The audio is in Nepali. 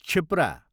क्षिप्रा